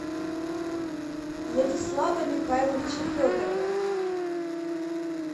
владислава михайловича федорова